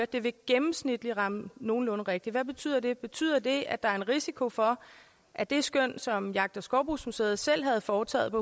det vil gennemsnitligt ramme nogenlunde rigtigt betyder hvad betyder det betyder det at der er en risiko for at det skøn som jagt og skovbrugsmuseet selv havde foretaget på